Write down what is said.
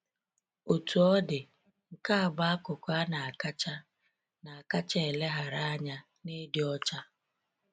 Otú ọ dị, nke a bụ akụkụ a na-akacha na-akacha eleghara anya n'ịdị ọcha.